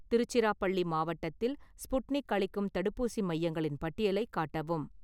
திருச்சிராபள்ளி மாவட்டத்தில் ஸ்புட்னிக் அளிக்கும் தடுப்பூசி மையங்களின் பட்டியலைக் காட்டவும்